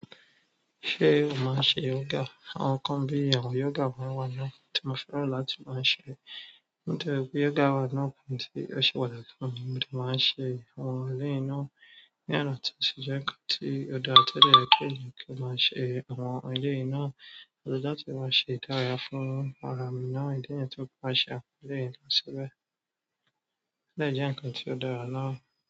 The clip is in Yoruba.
Ṣé o máa ń ṣe yoga? Àwọn nnkán bíi àwọn yoga máa ń wà lọ́wọ́, mo fẹ́ràn láti máa ṣe. Nígbà tí yoga wà lọ́wọ́, kí n tó ṣèpà dàgbà, mo ti máa ń ṣe àwọn eléyìí náà. Nígbà náà, mo ti sọ ẹ́ pé kí ó dára tẹ́lẹ̀ kí èmi kí máa ṣe àwọn ohun eléyìí náà. Ọ̀dọ̀ dára tí máa ṣe ìdárayá fún ara mi náà, ìdí nìyẹn tí mo bá ṣe àwọn eléyìí náà síbẹ̀. Ó dẹ̀ jẹ́ nǹkan tí ó dára náà?